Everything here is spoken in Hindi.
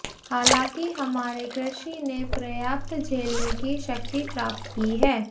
हालांकि हमारे कृषि ने पर्याप्त झेलने की शक्ति प्राप्त की है